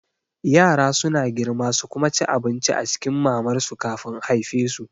Yara suna girma su kuma ci abinci a cikin mamar su kafin a haifesu